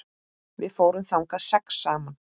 Við fórum þangað sex saman.